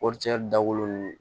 Kɔɔricɛ dabɔlen